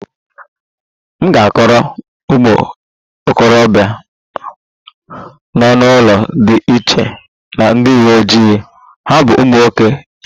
M ga-akọrọ ụmụ okorobịa nọ n'ụlọ dị iche na ndị uwe ojii, ha bụ ụmụ nwoke yahoo